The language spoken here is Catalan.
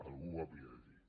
algú ho havia de dir